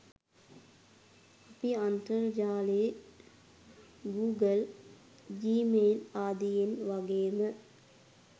අපි අන්තර්ජාලයේ Google Gmail ආදියෙන් වගේම